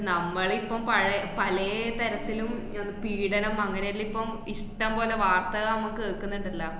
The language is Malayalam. നമ്മളിപ്പം പഴേ പലേ തരത്തിലും ആഹ് പീഡനം അങ്ങനെല്ലേ ഇപ്പം ഇഷ്ടംപോലെ വാർത്തക നമ്മ കേൾക്ക്ന്ന്ണ്ടല്ലാ.